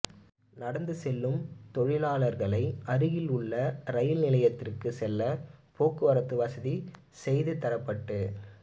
நடந்து செல்லும் தொழிலாளர்களை அருகில் உள்ள ரயில் நிலையத்திற்கு செல்ல போக்குவரத்து வசதி செய்து தரப்பட்டு